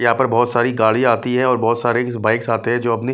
यहाँ पर बहुत सारी गाड़ी आती है और बहुत सारे बाइक्स आते हैं जो अपनी --